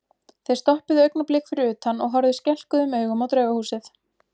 Þeir stoppuðu augnablik fyrir utan og horfðu skelkuðum augum á Draugahúsið.